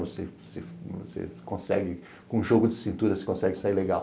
Você você você consegue, com jogo de cintura, você consegue sair legal.